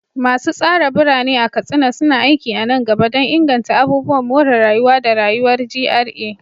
Masu tsara birane a Katsina suna aiki a nan gaba don inganta abubuwan more rayuwa da rayuwar GRA.